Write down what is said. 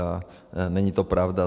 A není to pravda.